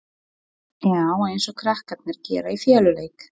Já, eins og krakkarnir gera í feluleik.